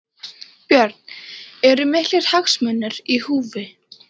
Björn: Eru miklir hagsmunir í húfi?